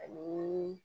Ani